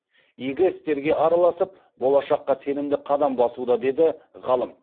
игі істерге араласып болашаққа сенімді қадам басуда деді ғалым